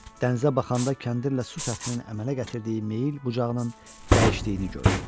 Dənizə baxanda kəndirlə su səthinin əmələ gətirdiyi meyl bucağının dəyişdiyini gördü.